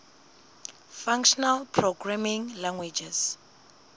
functional programming languages